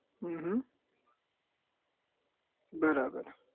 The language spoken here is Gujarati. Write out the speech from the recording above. હમ હમ બરાબર